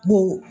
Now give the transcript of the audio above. Bon